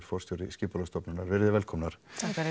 forstjóri Skipulagsstofnunnar verið þið velkomnar